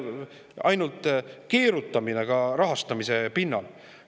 Ainult keerutamine ka rahastamise!